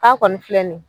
K'a kɔni filɛ nin ye